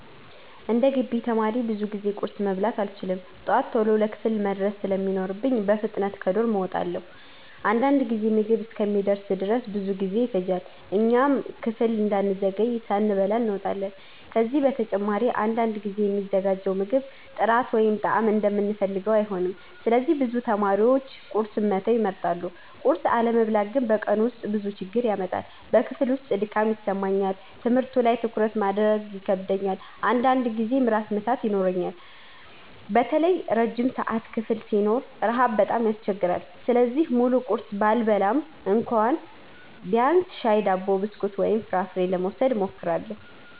11እንደ ግቢ ተማሪ ብዙ ጊዜ ቁርስ መብላት አልችልም። ጠዋት ቶሎ ለክፍል መድረስ ስለሚኖርብኝ በፍጥነት ከዶርም እወጣለሁ። አንዳንድ ጊዜ ምግብ እስኪደርስ ድረስ ብዙ ጊዜ ይፈጃል፣ እኛም ክፍል እንዳንዘገይ ሳንበላ እንወጣለን። ከዚህ በተጨማሪ አንዳንድ ጊዜ የሚዘጋጀው ምግብ ጥራት ወይም ጣዕም እንደምንፈልገው አይሆንም፣ ስለዚህ ብዙ ተማሪዎች ቁርስን መተው ይመርጣሉ። ቁርስ አለመብላት ግን በቀኑ ውስጥ ብዙ ችግር ያመጣል። በክፍል ውስጥ ድካም ይሰማኛል፣ ትምህርቱ ላይ ትኩረት ማድረግ ይከብደኛል፣ አንዳንድ ጊዜም ራስ ምታት ይኖረኛል። በተለይ ረጅም ሰዓት ክፍል ሲኖረን ረሃብ በጣም ያስቸግራል። ስለዚህ ሙሉ ቁርስ ባልበላም እንኳ ቢያንስ ሻይ፣ ዳቦ፣ ብስኩት ወይም ፍራፍሬ ለመውሰድ እሞክራለሁ።